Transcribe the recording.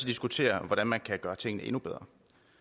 diskutere hvordan man kan gøre tingene endnu bedre